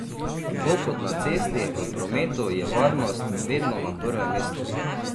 Tako kot na cesti, v prometu, je varnost vedno na prvem mestu.